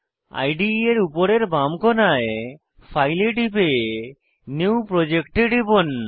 ইদে এর উপরের বাম কোণায় ফাইল এ টিপে নিউ প্রজেক্ট এ টিপুন